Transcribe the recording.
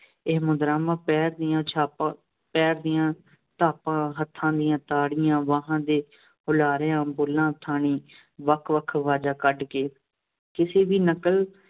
ਇਹ ਮੁਦਰਾਂਵਾਂ ਪੈਰਾਂ ਦੀਆਂ ਛਾਪਾਂ, ਪੈਰ ਦੀਆਂ ਧਾਪਾਂ, ਹੱਥਾਂ ਦੀਆਂ ਤਾੜੀਆਂ, ਬਾਹਾਂ ਦੇ ਹੁਲਾਰਿਆਂ, ਬੁੱਲ੍ਹਾਂ ਥਣੀ ਵੱਖ-ਵੱਖ ਅਵਾਜ਼ਾਂ ਕੱਢ ਕੇ, ਕਿਸੇ ਦੀ ਨਕਲ